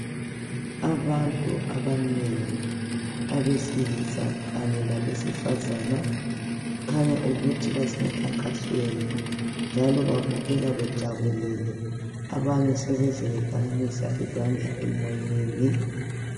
Abantu abanengi abesilisa kanye labesifazana kukhanya ukuthi basemkhankasweni njalo babukeka bejabulile njalo abanye sebeze bephakamisa izandla emoyeni.